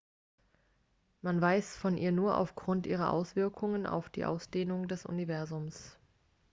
man weiß von ihr nur aufgrund ihrer auswirkungen auf die ausdehnung des universums